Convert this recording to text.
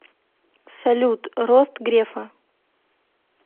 салют рост грефа